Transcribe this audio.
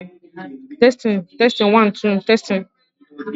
Ọrụ akpụkpọ anụ na-eji ahụ anụmanụ arụpụta akpa na akpụkpọ ụkwụ